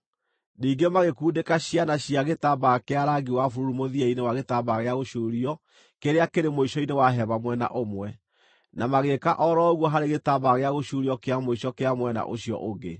Ningĩ magĩkundĩka ciana cia gĩtambaya kĩa rangi wa bururu mũthia-inĩ wa gĩtambaya gĩa gũcuurio kĩrĩa kĩrĩ mũico-inĩ wa mwena ũmwe, na magĩĩka o ro ũguo harĩ gĩtambaya gĩa gũcuurio kĩa mũico kĩa mwena ũcio ũngĩ.